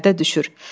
Pərdə düşür.